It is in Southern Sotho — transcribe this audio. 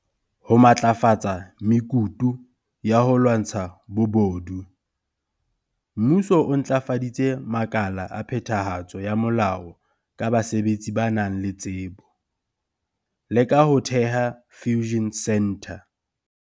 Ho matlafatsa mekutu ya ho lwantsha bobodu, Mmuso o ntlafaditse makala a phetha hatso ya molao ka basebetsi ba nang le tsebo, le ka ho theha Fusion Centre.